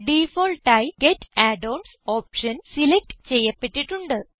ഡിഫാൾട്ടായി get add ons option select ചെയ്യപ്പെട്ടിട്ടുണ്ട്